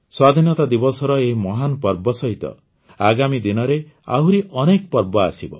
ସ୍ୱାଧୀନତା ଦିବସର ଏହି ମହାନ୍ ପର୍ବ ସହିତ ଆଗାମୀ ଦିନରେ ଆହୁରି ଅନେକ ପର୍ବ ଆସିବ